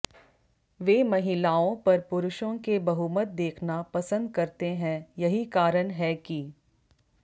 वे महिलाओं पर पुरुषों के बहुमत देखना पसंद करते हैं यही कारण है कि